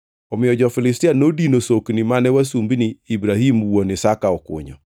Omiyo jo-Filistia nodino sokni mane wasumbini Ibrahim wuon Isaka okunyo.